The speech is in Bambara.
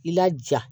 I laja